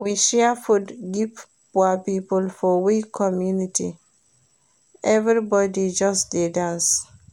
We share food give poor pipo for we community, everybodi just dey dance.